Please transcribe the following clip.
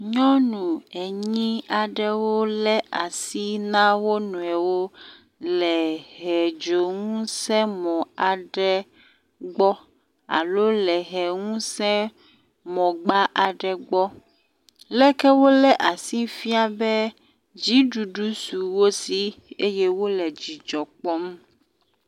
Nyɔnu enyi aɖewo lé asi na wo nɔnɔewo le hedzoŋusẽmɔ aɖe gbɔ alo le ʋeŋusẽmɔgba aɖe gbɔ. Leke wolé asi fia be dziɖuɖu su wosi eye wole dzidzɔ kpɔm.